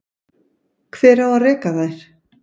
Hver á að reka þær?